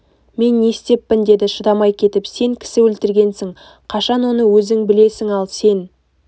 мен не істеппін деді шыдамай кетіп сен кісі өлтіргенсің қашан оны өзің білесің ал сен